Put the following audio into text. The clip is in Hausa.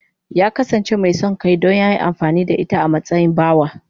Ya kasance mai son kai don ya yi amfani da ita a matsayin bawa.